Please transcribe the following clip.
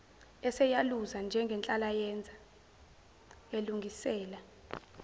eseyaluza njengenhlalayenza elungisela